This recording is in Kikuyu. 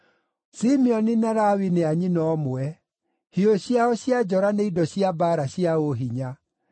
“Simeoni na Lawi nĩ a nyina ũmwe, hiũ ciao cia njora nĩ indo cia mbaara cia ũhinya.